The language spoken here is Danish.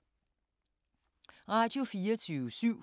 Radio24syv